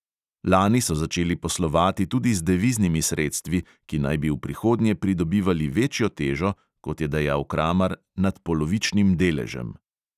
Lani so začeli poslovati tudi z deviznimi sredstvi, ki naj bi v prihodnje pridobivali večjo težo, kot je dejal kramar, nad polovičnim deležem.